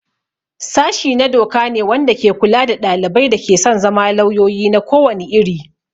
Sashi na doka ne wanda ke kula da ɗalibai da ke son zama lauyoyi na ko wani iri.